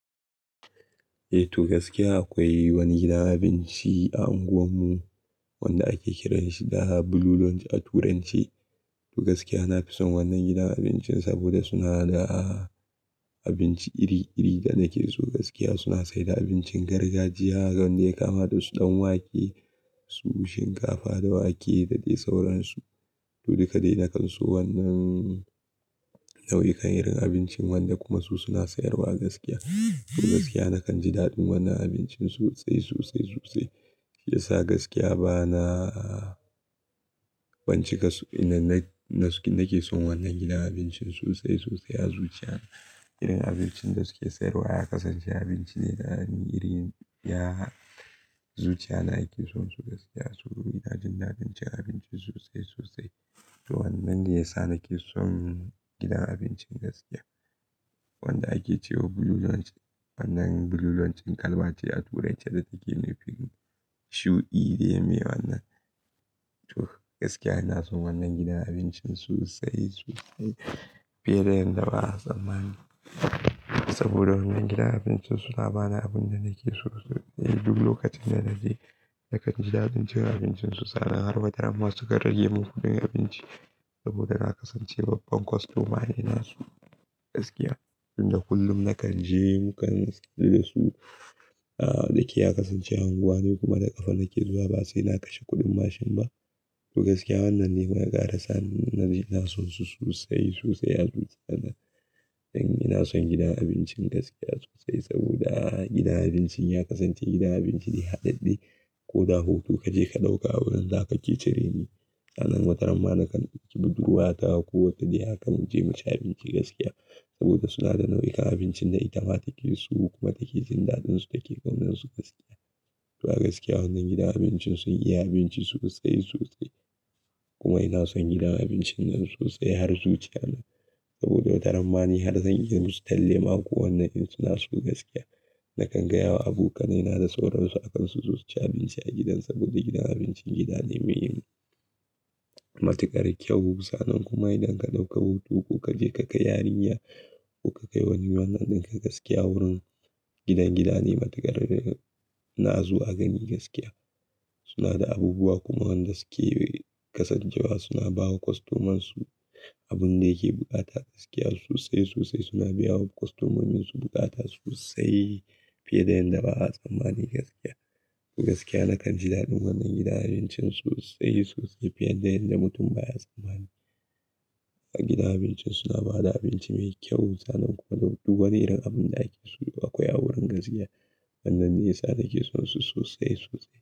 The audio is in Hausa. Eh, to gaskiya akwai wani gidan abinci a unguwar mu wanda ake kiranshi da Blue Lounge a turance. To gaskiya na fison wannan gidan abincin saboda suna da abinci iri-iri da nake so gaskiya suna saida abincin gargajiya wanda yakama dasu ɗanwake, su shinkafa da wake da dai sauransu. To dukadaida na kan so wannan nau'ikan irin abincin wanda kuma su suna sayarwa a gaskiya. To gaskiya nakan ji daɗin wannan abincin sosai, sosai, sosai. Shiyasa gaskiya bana kwance kasug inna nake son wannan gidan abincin sosai, sosai a zuciya na. Irin abincin da suke sayarwa ya kasance abinci ne da irin ya zuciya na yake son su gaskiya. To ina jin daɗin abincin abincin sosai sosai. To wannan ne yasa nake son gidan abincin gaskiya. Wanda ake cewa Blue Lounge wannan Blue Lounge din ƙalma ce a turance da take nefin shudine me wannan. To gaskiya ina son wannan gidan abincin sosai sosai fiye da yadda ba'a tsammani saboda wannan gidan abincin suna bani abun da nake so duk lokacin da naje. Nakan ji daɗin cin abincin su sannan har ma dama sukan rage mun kuɗin abinci saboda na kasance babban kwastomane nasu gaskiya. Inda kullum nakan je mukan lida su, daki ya kasance unguwa ne kuma daga fannin ke zuwa ba sai na kashe kuɗin mashin ba. To gaskiya wannan ne wanda ya kara sa ni naje naso su sosai sosai a zuciya na. Dan ina son gidan abincin gaskiya sosai saboda gidan abincin ya kasance gidan abinci ne haɗaɗɗe. Koda hutu kaje ka ɗauka wurin da kake cire ni. Sannan wataramma nakan kibiddurwa ta ko wata dai aka mu je mu ci abinci gaskiya saboda suna da nau'ikan abincin da ita ma take so kuma take jin daɗinsu take gaunin su gaskiya. To a gaskiya wannan gidan abincin sun iya abinci sosai sosai kuma ina son gidan abincin nan sosai har zuciya na saboda watarammani har zan iya musu tallle ma ko wanne irin suna so gaskiya. Nakan gaya wa abokanai na da sauransu a kan su zo su ci abinci a gidan saboda gidan abincin gida ne mai matuƙar kyau sannan kuma idan ka ɗauka hutu ko kaje ka kai yarinya ko ka kai wani wannan ɗinka gaskiya wurin gidan, gida ne matuƙar na azu a gani gaskiya. Suna da abubuwa kuma wanda suke kasancewa suna bawa kwastomansu abun da yake bukata gaskiya sosai sosai suna biya wa kwastomomin su bukata sosai fiye da yadda ba'a tsammani gaskiya. To gaskiya nakan ji daɗin wannan gidan abincin sosai sosai fiye da yadda mutum baya tsammani. A gidan abincin suna bada abinci mai kyau sannan kuma duk wani irin abinda ake so akwai a wurin gaskiya. Wannan ne yasa nake son su sosai sosai.